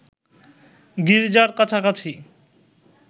গির্জার কাছাকাছি